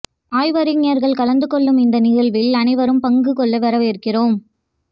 ஆய்வறிஞர்கள் கலந்து கொள்ளும் இந்த நிகழ்வில் அனைவரும் பங்கு கொள்ள வரவேற்கிறோம்